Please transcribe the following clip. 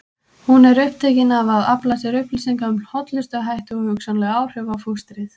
Hún er upptekin af að afla sér upplýsinga um hollustuhætti og hugsanleg áhrif á fóstrið.